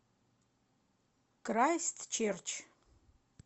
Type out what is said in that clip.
крайстчерч